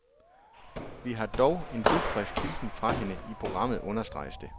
Vi har dog en dugfrisk hilsen fra hende i programmet, understreges det.